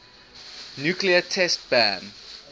nuclear test ban